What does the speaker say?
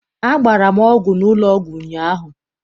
Agbara m ọgwụ n'ụlọ ọgwụ ụnyaahụ.